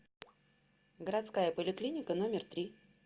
городская поликлиника номер три